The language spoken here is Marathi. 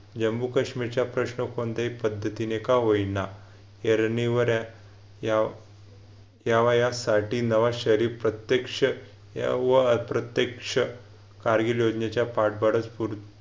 जम्मू-काश्मीरच्या प्रश्न कोणत्याही पद्धतीने का होईना या रणीवर हाय या वयात साठी नवा शरीफ प्रत्यक्ष यावर प्रत्यक्ष कारगिल योजनेच्या पाठबळास